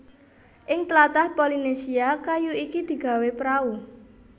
Ing tlatah Polynesia kayu iki digawé prau